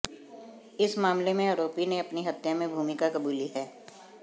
इस मामले में आरोपी ने अपनी हत्या में भूमिका कबूली है